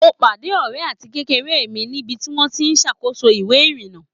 Mo pádé ọ̀rẹ́ àtikékeré mi níbi tí wọ́n ti ń ṣàkóso ìwé ìrìnà